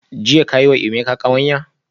Jiya ka yi wa Emeka kawanya?